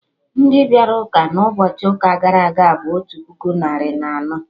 Ndị bịara ụka na ụbọchị ụka gara aga bụ otu puku narị na anọ